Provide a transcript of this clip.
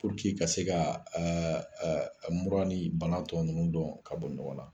ka se ka mura ni bana tɔ ninnu don ka bɔ ɲɔgɔn na